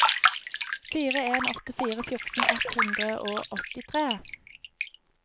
fire en åtte fire fjorten ett hundre og åttitre